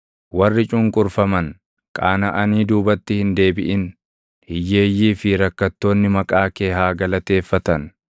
Warri cunqurfaman qaanaʼanii duubatti hin deebiʼin; hiyyeeyyii fi rakkattoonni maqaa kee haa galateeffatan.